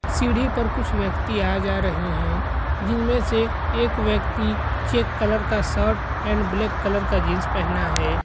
सीढ़ी पर कुछ व्यक्ति आ जा रहे है जिनमे से एक व्यक्ति चेक कलर का शर्ट एंड ब्लैक कलर का जीन्स पहना है।